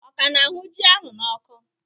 Ọ ka na-ahụ ji ahụ n'ọkụ?